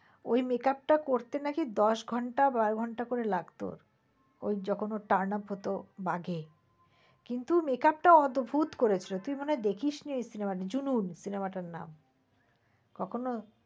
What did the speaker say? ওই makeup টা করতে নাকি দশ ঘন্টা বারো ঘন্টা করে লাগত। ওই যখন ওর turn-up হত বাঘে। কিন্তু makeup টা অদ্ভুত করেছিল। তুই মনে হয় দেখিস নি cinema টা জুনুন cinema টার নাম তখন ও